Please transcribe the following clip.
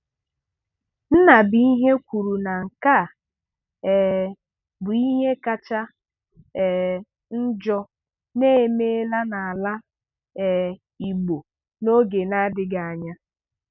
Nnabuihe kwuru na nke a um bụ ihe kacha um njọ na-eme n'ala um Igbo n'oge na-adịbeghị anya.